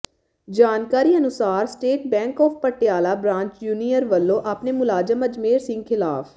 ਜਾਣਕਾਰੀ ਅਨੁਸਾਰ state bank of Patiala branch Jhunir ਵਲੋਂ ਆਪਣੇ ਮੁਲਾਜ਼ਮ ਅਜਮੇਰ ਸਿੰਘ ਖ਼ਿਲਾਫ਼